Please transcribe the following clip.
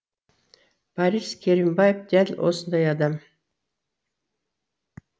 борис керімбаев дәл осындай адам